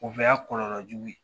O bɛɛ y'a kɔlɔlɔ jugu ye